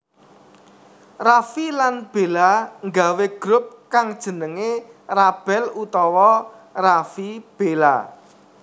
Raffi lan Bella nggawé grup kang jenengé RaBel utawa Raffi/Bella